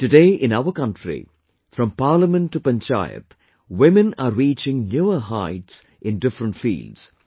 Today, in our country, From Parliament to Panchayat, women are reaching newer heights in different fields